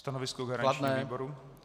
Stanovisko garančního výboru?